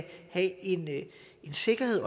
have en sikkerhed